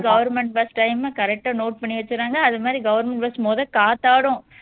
government bus time உம் correct ஆ note பண்ணி வச்சுடுறாங்க அது மாதிரி government bus மொத காத்தாடும்